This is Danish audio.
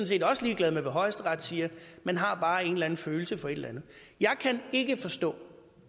set også ligeglad med hvad højesteret siger man har bare en eller anden følelse for et eller andet jeg kan ikke forstå